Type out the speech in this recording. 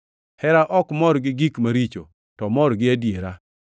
Hera ok mor gi gik maricho, to omor gi adiera.